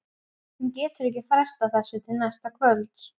Hún getur ekki frestað þessu til næsta kvölds.